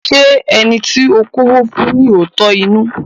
Ṣé ẹni to kọ́wó fún ní òótọ́ inú?